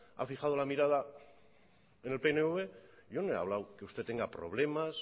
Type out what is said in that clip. ha fijado la mirada en el pnv yo no he hablado que usted tenga problemas